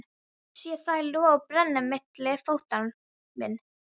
Sé þær loga og brenna milli fóta minna.